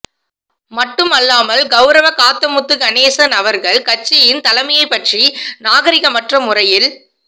மட்டுமல்லாமல் கௌரவ காத்தமுத்து கணேசன் அவர்கள் கட்சியின் தலைமையைப்பற்றி நாகரீகமற்ற முறையில்